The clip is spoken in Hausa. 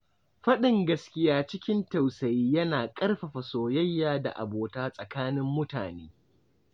Faɗin gaskiya cikin tausayi yana ƙarfafa soyayya da abota tsakanin mutane.